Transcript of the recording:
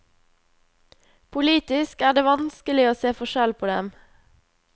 Politisk er det vanskelig å se forskjell på dem.